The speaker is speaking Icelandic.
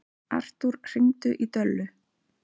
Artúr, hringdu í Döllu.